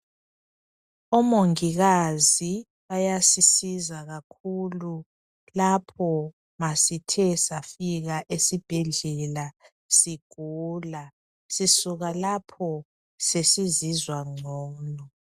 Omongikazi bayasisiza kakhulu lapho ma sithe safika esibhedlela sigula sisuka lapho sesizizwa ngcono.